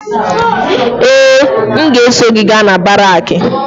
Ee! M ga-eso gị gaa na baraakị.